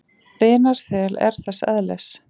Vinarþel er þess eðlis.